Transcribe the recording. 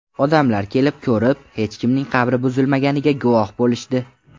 Odamlar kelib, ko‘rib, hech kimning qabri buzilmaganiga guvohi bo‘lishdi”.